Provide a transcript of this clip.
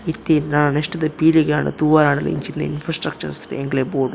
ಇತ್ತೆ ಇಂದ್ ಆಂಡ್ ನೆಕ್ಸ್ಟ್ ದ ಪೀಳಿಗೆ ಆಂಡ ತೂವರೆ ಆಂಡಲ ಇಂಚಿನ ಇನ್ಫ್ರಾಸ್ಟ್ರಕ್ಚರ್ ಎಂಕ್ಲೆಗ್ ಬೋಡು.